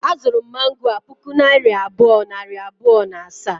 A zuru m mango a puku naira abụọ, nari bụọ, na asaa